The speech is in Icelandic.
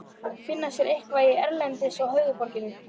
Finna sér eitthvað til erindis í höfuðborginni?